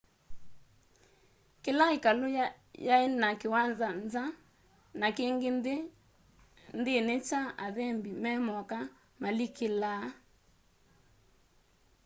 kĩla ĩkalũ yaĩ na kĩwanza nza na kĩngĩ nthĩnĩ kya athembĩ memoka malikĩlaa